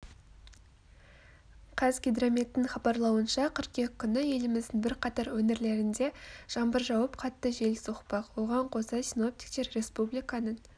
қазгидрометтің хабарлауынша қыркүйек күні еліміздің бірқатар өңірлерінде жаңбыр жауып қатты жел соқпақ оған қоса синоптиктер республиканың